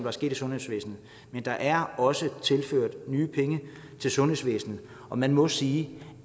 er sket i sundhedsvæsenet men der er også tilført nye penge til sundhedsvæsenet og man må sige